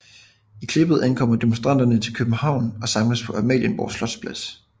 I klippet ankommer demonstranterne til København og samles på Amalienborg Slotsplads